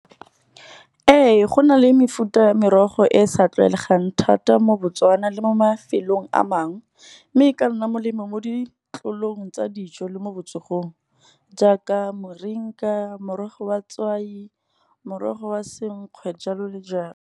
Ee go na le mefuta ya merogo e e sa tlwaelegang thata mo Botswana, le mo mafelong a mangwe. Mme e ka nna molemo mo ditlolong tsa dijo le mo botsogong, jaaka moringa, morogo wa tswai, morogo wa senkgwe jalo le jalo.